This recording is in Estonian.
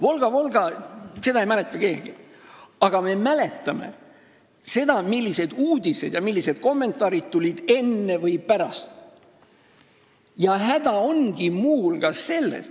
"Volga-Volgat" ei mäleta keegi, aga me mäletame, millised uudised ja kommentaarid tulid enne või pärast seda.